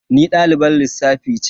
Ni dalibar lissafi ce.